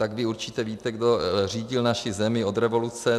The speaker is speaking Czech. Tak vy určitě víte, kdo řídil naši zemi od revoluce.